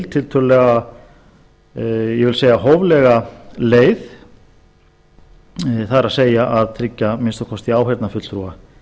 tiltölulega ég vil segja hóflega leið það er að tryggja að minnsta kosti áheyrnarfulltrúa